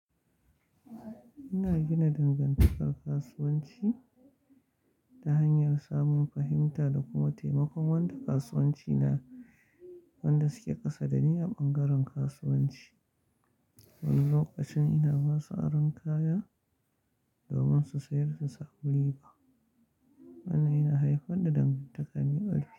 Ina gina dangantakar kasuwanci ta hanyar samun fahimta da kuma taimakon wanda kasuwanci na wanda suke kasa da ni a ɓangaren kasuwanci. Wani lokacin ina ba su aron kaya domin su sayar su samu riba. Wannan yana haifar da dangantaka mai arziqi.